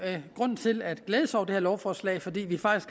grund til at glæde sig over det her lovforslag for vi